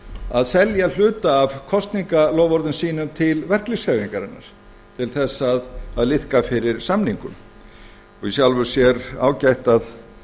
að selja hluta af kosningaloforðum sínum til verkalýðshreyfingarinnar til að liðka fyrir samningum og í sjálfu sér ágætt að